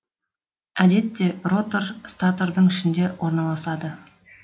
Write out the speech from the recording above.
әдетте ротор статордың ішінде орналасады